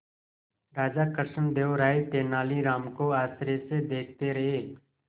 राजा कृष्णदेव राय तेनालीराम को आश्चर्य से देखते रहे